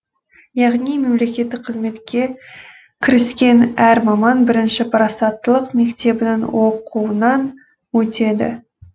яғни мемлекеттік қызметке кіріскен әр маман бірінші парасаттылық мектебінің оқуынан өтеді